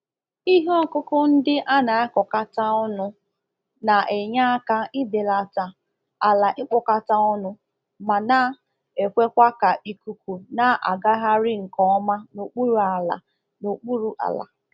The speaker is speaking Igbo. Ihe ọkụkụ ndị a na-akọkata ọnụ na-enye aka ibelata ala ikpọkata ọnụ ma na-ekwekwa ka ikuku na-agagharị nkeọma n'okpuru ala n'okpuru ala